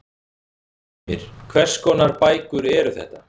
Heimir: Hvers konar bækur eru þetta?